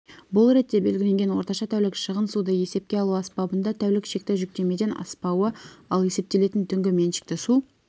бұл ретте белгіленген орташа тәулік шығын суды есепке алу аспабында тәулік шекті жүктемеден аспауы ал есептелетін түнгі меншікті су